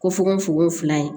Ko fukofoko fila ye